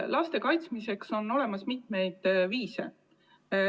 Laste kaitsmiseks on olemas mitmeid viise.